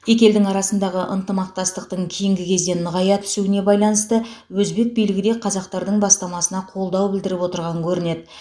екі елдің арасындағы ынтымақтастықтың кейінгі кезде нығая түсуіне байланысты өзбек билігі де қазақтардың бастамасына қолдау білдіріп отырған көрінеді